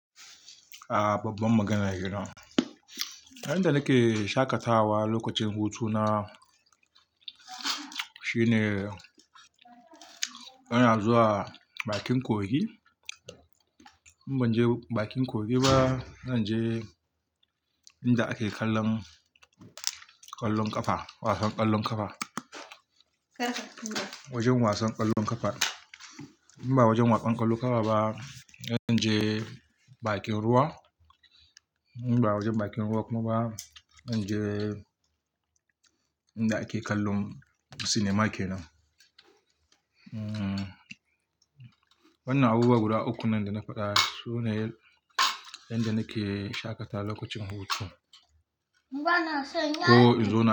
A babban magana yina. Inda nake shaƙatawa lokacin hutu na shine ina zuwa bakin kogi. In ban je bakin kogi ba, na je inda ake kallon ƙwallon ƙafa, wasan ƙwallon ƙafa. Wajen wasan ƙwallon ƙafa. In ba wajen wasan ƙwallon ƙafa ba, na je bakin ruwa. In ba wajen bakin ruwa kuma ba, na je inda ake kallon cinema kenan. Wanna abubuwa guda uku nan da na faɗa sune inda nake shaƙatawa lokacin hutu. Ko in zo.